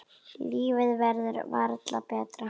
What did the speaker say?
Lífið verður varla betra.